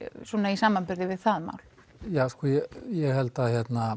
í samanburði við það mál ég held að